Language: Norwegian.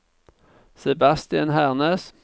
Sebastian Hernes